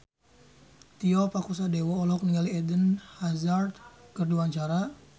Tio Pakusadewo olohok ningali Eden Hazard keur diwawancara